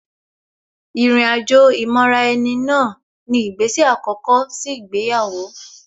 Ìrìn àjò ìmọra-ẹni náà ni ìgbésè àkọ́kọ́ sí ìgbéyàwó